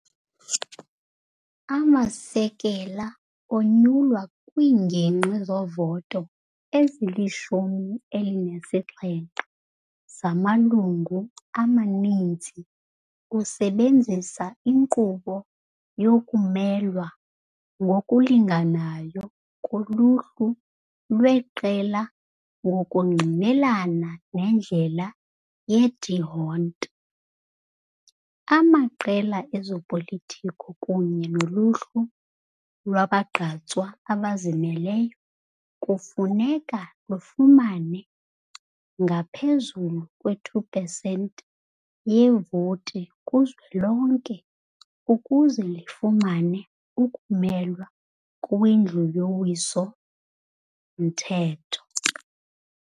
Amasekela onyulwa kwiingingqi zovoto ezili-17 zamalungu amaninzi usebenzisa inkqubo yokumelwa ngokulinganayo koluhlu lweqela ngokungqinelana nendlela ye-D'Hondt. Amaqela ezopolitiko kunye noluhlu lwabagqatswa abazimeleyo kufuneka lifumane ngaphezulu kwe-2 pesenti yevoti kuzwelonke ukuze lifumane ukumelwa kwiNdlu yoWiso-mthetho.